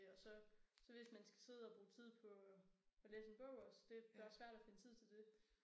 Og så så hvis man skal sidde og bruge tid på at læse en bog også det bare svært at finde tid til det